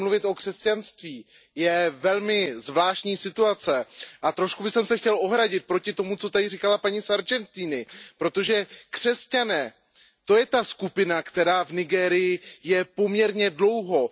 nemluvit o křesťanství, je velmi zvláštní situace a trošku bych se chtěl ohradit proti tomu, co tady říkala paní Sargentiniová, protože křesťané, to je ta skupina, která v Nigérii je poměrně dlouho.